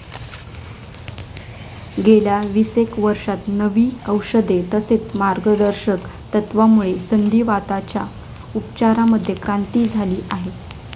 गेल्या विसेक वर्षात नवी औषधे, तसेच मार्गदर्शक तत्वामुळे संधीवाताच्या उपचारांमध्ये क्रांती झाली आहे.